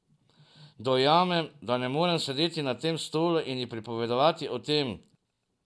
Dojamem, da ne morem sedeti na tem stolu in ji pripovedovati o tem.